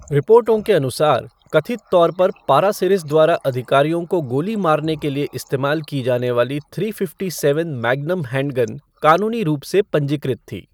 रिपोर्टों के अनुसार, कथित तौर पर पारासिरिस द्वारा अधिकारियों को गोली मारने के लिए इस्तेमाल की जाने वाली three fifty seven magnum handgun कानूनी रूप से पंजीकृत थी।